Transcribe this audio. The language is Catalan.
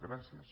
gràcies